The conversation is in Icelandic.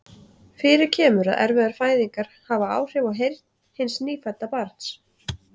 Fyrir kemur að erfiðar fæðingar hafa áhrif á heyrn hins nýfædda barns.